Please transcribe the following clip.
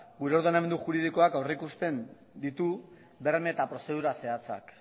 gure ordenamendu juridikoak aurreikusten ditu berme eta prozedura zehatzak